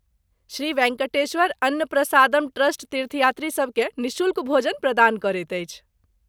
Shri Venkateswara Anna Prasadam trust तीर्थयात्रीसभ केँ निःशुल्क भोजन प्रदान करैत अछि।